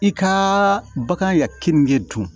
I ka bagan ka keninke dun